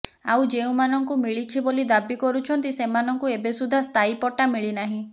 ଆଉ ଯେଉଁମାନଙ୍କୁ ମିଳିଛି ବୋଲି ଦାବି କରୁଛନ୍ତି ସେମାନଙ୍କୁ ଏବେସୁଦ୍ଧା ସ୍ଥାୟୀ ପଟ୍ଟା ମିଳିନାହିଁ